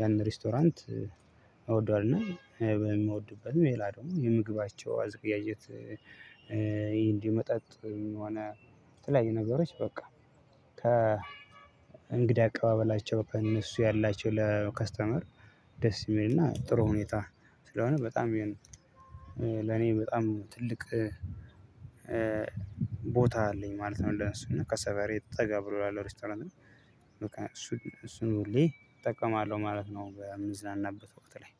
ያንን ሬስቶራንት እወደዋለሁና በምወድበት ሌላ ደግሞ የምግባቸው አዘገጃጀት እንዲ መጠጥም ሆነ የተለያዩ ነገሮች በቃ ከ እንግዳ አቀባበላቸው ከእነሱ ያላቸው ለከስተመር ደስ የሚልና ጥሩ ሁኔታ ስለሆነ በጣም ይሄን ለኔ በጣም ትልቅ ቦታ አለኝ ማለት ነው። እንደነሱ እና ከሰፈሬ ጠጋ ብሎ ያለው ሬስቶራንት እና እሱን እሱን ሁሌ እጠቀማለሁ ማለት ነው። በምዝናናበት ወቅት ላይ